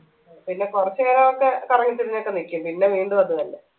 പിന്നെ കൊറച്ചു നേരൊക്കെ കറങ്ങി തിരിഞ്ഞൊക്കെ നിക്കും പിന്നെ വീണ്ടും അത് തന്നെ